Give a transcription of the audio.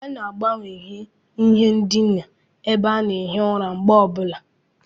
A na-agbanwanye ihe ndina ebe a na-ehi ụra mgbe ọ bụla.